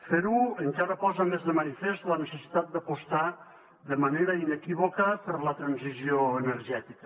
fer ho encara posa més de manifest la necessitat d’apostar de manera inequívoca per la transició energètica